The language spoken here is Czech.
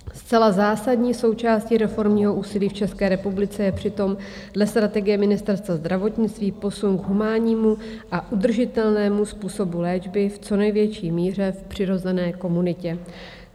Zcela zásadní součástí reformního úsilí v České republice je přitom dle strategie Ministerstva zdravotnictví posun k humánnímu a udržitelnému způsobu léčby v co největší míře v přirozené komunitě.